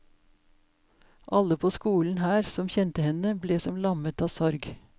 Alle på skolen her som kjente henne, ble som lammet av sorg.